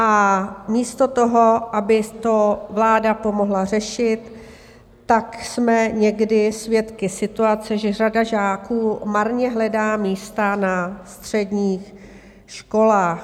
A místo toho, aby to vláda pomohla řešit, tak jsme někdy svědky situace, že řada žáků marně hledá místa na středních školách.